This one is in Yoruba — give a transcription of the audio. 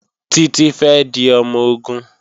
Títí fẹ́ di ọmọ-ogun